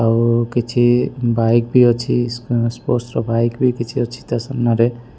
ଆଉ କିଛି ବାଇକ୍ ବି ଅଛି। ଉଁ ସ୍ପୋର୍ଟସ୍ ର ବାଇକ ବି କିଛି ଅଛି ତା ସାମ୍ନା ରେ।